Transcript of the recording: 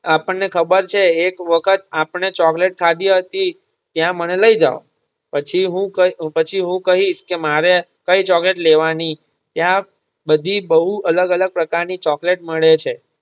આપણને ખબર છે એક વખત આપણે ચોકલેટ ખાધી હતી ત્યાં મને લઈ જાવ પછી હું કઈ પછી હું કઈશ કે મારે કઈ ચોકલેટ લેવાની ત્યાં બધી બહુ અલગ અલગ પ્રકાર ની ચોકલેટ મળે છે.